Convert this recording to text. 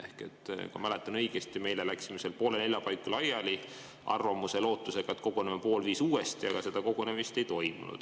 Kui ma õigesti mäletan, me eile läksime poole nelja paiku laiali arvamuse ja lootusega, et koguneme pool viis uuesti, aga seda kogunemist ei toimunud.